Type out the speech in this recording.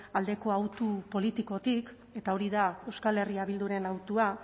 aldeko hautu politikotik eta hori da euskal herria bilduren hautua